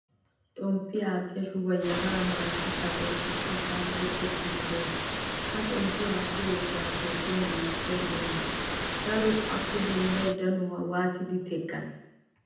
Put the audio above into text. Xommpiyaa attiya shubuwaa yafaray maarara suchchappe oosettida sa'an tokkettidi de'ees. Ha xommpiyaa aattiyaa yafaara toophphiyan giigisiya oone? Darotto appe denddiyaa danuwaa waattidi teqqane?